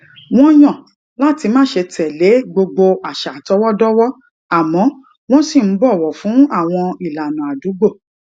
wón yàn láti má ṣe tè lé gbogbo àṣà àtọwódówó àmó wón ṣì ń bòwò fún àwọn ìlànà àdúgbò